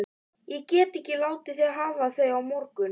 Ég get ekki látið þig hafa þau á morgun